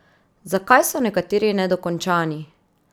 Zakaj so nekateri nedokončani?